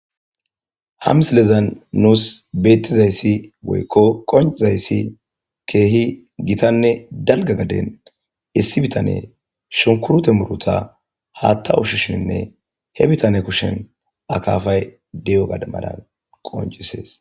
Ha msilezan nuus bettizayssi woykko qonc'izayssi keehi gitanne dalga gaden issi bitane shunkurto muruta haatta ushishenne. He bitane kushen akaafay di7o gade malan qonc'isees.